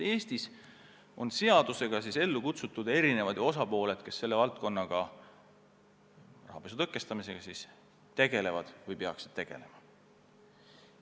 Eestis on seadusega ellu kutsutud mitu asutust, kes selle valdkonnaga, rahapesu tõkestamisega tegelevad või peaksid tegelema.